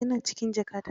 Ya na cikin jakata.